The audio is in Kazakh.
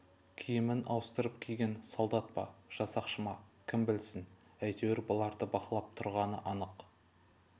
киімін ауыстырып киген солдат па жасақшы ма кім білсін әйтеуір бұларды бақылап тұрғаны анық